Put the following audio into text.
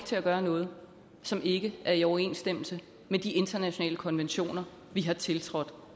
til at gøre noget som ikke er i overensstemmelse med de internationale konventioner vi har tiltrådt